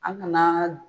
An ŋana